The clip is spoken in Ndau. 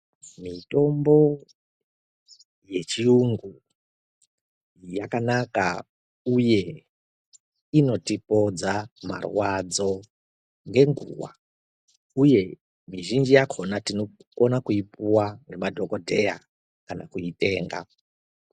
Mitombo yechiyungu yakanaka uye inotipodza marwadzo ngenguva. Uye mizhinji yakona tinokona kuipuwa nemadhogodheya kana kuitenga.